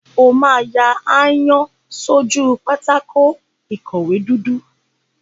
O máa ya aáyán sójú pátákó ìkọ̀wé dúdú.